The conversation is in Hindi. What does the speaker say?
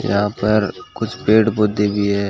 यहां पर कुछ पेड़ पौधे भी है।